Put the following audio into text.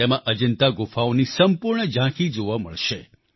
તેમાં અજન્તા ગુફાઓની સંપૂર્ણ ઝાંખી જોવા મળશે